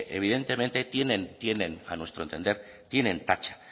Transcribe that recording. evidentemente a nuestro entender tienen tacha